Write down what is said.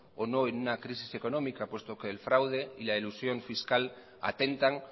o no en una crisis económica puesto que el fraude y la elusión fiscal atentan